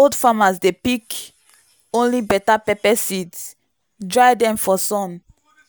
old farmers dey pick only better pepper seeds dry them for sun